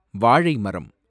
வாழைமரம்